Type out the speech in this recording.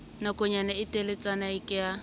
nakonyana e teletsana ke ha